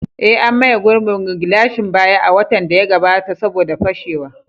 Eh, an maye gurbin gilashin baya a watan da ya gabata saboda fashewa.